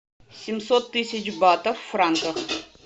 семьсот тысяч батов в франках